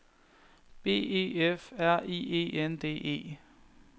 B E F R I E N D E